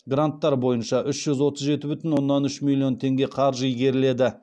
гранттар бойынша үш жүз отыз жеті бүтін оннан үш миллион теңге қаржы игеріледі